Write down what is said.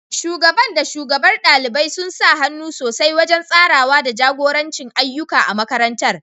Shugaban da shugabar ɗalibai sun sa hannu sosai wajen tsarawa da jagoranci ayyuka a makarantar.